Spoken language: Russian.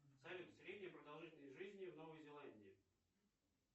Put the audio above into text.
салют средняя продолжительность жизни в новой зеландии